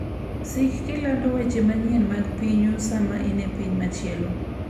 Sik kilando weche manyien mag pinyu sama in e piny machielo.